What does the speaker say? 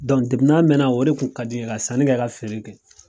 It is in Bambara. mɛnna o de tun ka di n ye ka sanni kɛ ka feere kɛ.